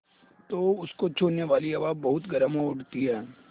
तो उसको छूने वाली हवा बहुत गर्म हो उठती है